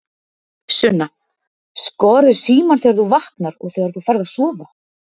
Sunna: Skoðarðu símann þegar þú vaknar og þegar þú ferð að sofa?